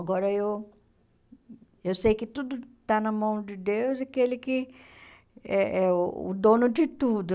Agora eu eu sei que tudo está na mão de Deus e que Ele que é é o dono de tudo.